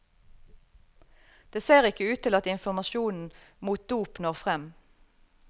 Det ser ikke ut til at informasjonen mot dop når frem.